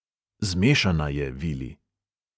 Zmešana je, vili.